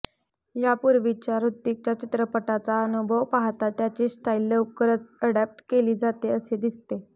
यापूर्वीच्या हृतिकच्या चित्रपटाचा अनुभव पाहता त्याची स्टाईल लवकर अडॉप्ट केली जाते असे दिसते